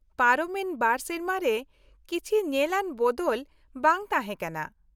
-ᱯᱟᱨᱚᱢ ᱮᱱ ᱒ ᱥᱮᱨᱢᱟ ᱨᱮ ᱠᱤᱪᱷᱤ ᱧᱮᱞ ᱟᱱ ᱵᱚᱫᱚᱞ ᱵᱟᱝ ᱛᱟᱦᱮᱸ ᱠᱟᱱᱟ ᱾